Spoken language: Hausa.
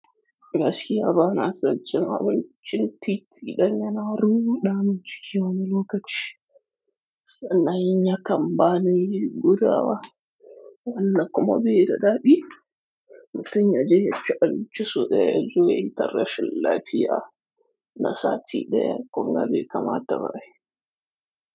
Gaskiya bana son cin abincin titi, dan yana ruɗa min ciki wani lokaci sannan in yakan ba ni gudawa. Wannan kuma bai da daɗi. Mutum ya je ya ci abinci sau ɗaya zuwa ya yi tarrashin lafiya na sati ɗaya kunga bai kama ta ba ai.